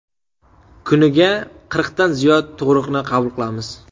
Kuniga qirqdan ziyod tug‘ruqni qabul qilamiz.